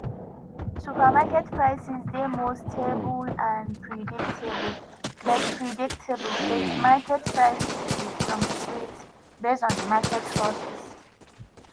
supermarket prices dey more stable and predictable but predictable but market prices dey fluctuate based on di market forces